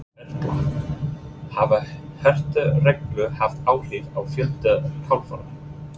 Erla, hafa hertar reglur haft áhrif á fjölda kafara?